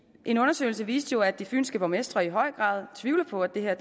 en undersøgelse viste jo at de fynske borgmestre i høj grad tvivler på at det her